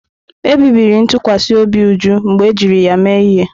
Ebibiri ntụkwasị obi Uju mgbe ejiri ya mee ihe.